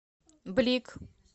блик